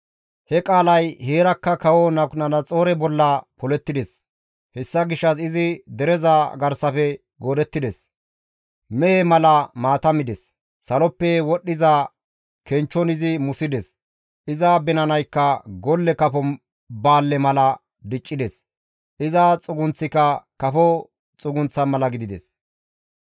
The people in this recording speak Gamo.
He qaalay heerakka kawo Nabukadanaxoore bolla polettides; hessa gishshas izi dereza garsafe goodettides; mehe mala maata mides; saloppe wodhdhiza kenchchon izi musides; iza binanaykka golle kafo baalle mala diccides; iza xugunththika kafo xugunththa mala gidides.